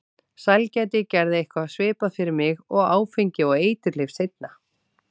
Sælgæti gerði eitthvað svipað fyrir mig og áfengi og eiturlyf seinna.